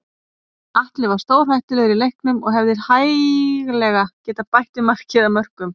Atli var stórhættulegur í leiknum og hefði hæglega getað bætt við marki eða mörkum.